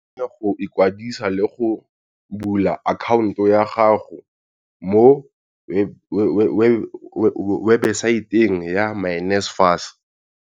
O kgone go ikwadisa le go bula akhaonto ya gago mo webesaeteng ya myNSFAS.